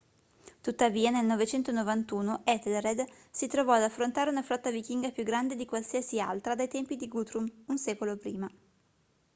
tuttavia nel 991 ethelred si trovò ad affrontare una flotta vichinga più grande di qualsiasi altra dai tempi di guthrum un secolo prima